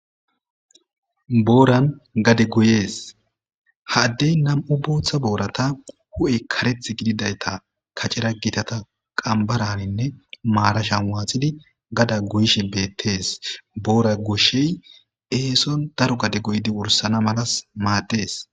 booran gade goyees ha adey nam'u booththa boorata hu'e kareth gididayta kacera gitata qambaraninne maarashan waaxidi gada goyishe beettes boora goshey eeson daro gade goydi wursana malas maaddees